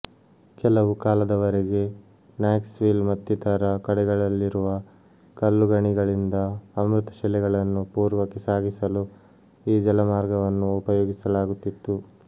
ಕೆಲವು ಕಾಲದ ವರೆಗೆ ನಾಕ್ಸ್ ವಿಲ್ ಮತ್ತಿತರ ಕಡೆಗಳಲ್ಲಿರುವ ಕಲ್ಲುಗಣಿಗಳಿಂದ ಅಮೃತಶಿಲೆಗಳನ್ನು ಪೂರ್ವಕ್ಕೆ ಸಾಗಿಸಲು ಈ ಜಲಮಾರ್ಗವನ್ನು ಉಪಯೋಗಿಸಲಾಗುತ್ತಿತ್ತು